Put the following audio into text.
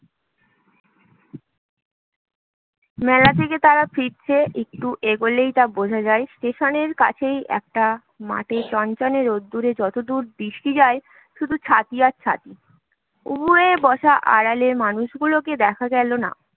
মেলা থেকে তারা ফিরেছে, একটু এগুলোই তা বোঝা যায় স্টেশনের কাছেই একটা মাঠে চনচনে রোদ্দুরে যতদূর দৃষ্টি যায় শুধু ছাতি আর ছাতি উবু হয়ে বসা আড়ালের মানুষগুলোকে দেখা গেল না